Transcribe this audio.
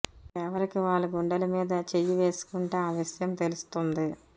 ఎవరికి వాళ్ళు గుండెల మీద చెయ్యి వేసుకుంటే ఆ విషయం తెలుస్తుంది